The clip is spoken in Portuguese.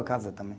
Casa também